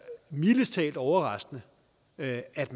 mildest talt overraskende at at